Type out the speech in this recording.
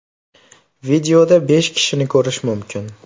Videoda besh kishini ko‘rish mumkin.